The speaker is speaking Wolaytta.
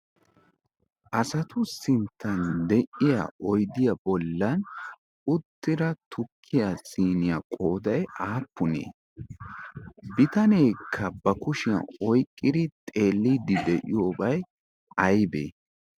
asatu sinttan de'iya oidiya bollan uttira tukkiya siniyaa qoodai aappunee bitaneekka ba kushiyan oyqqidi xeelliidi de'iyoobay aybee?